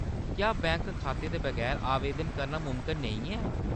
क्या बैंक खाते दे बगैर आवेदन करना मुमकन नेईं ऐ ?